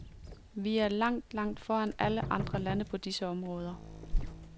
Vi er langt, langt foran alle andre lande på disse områder.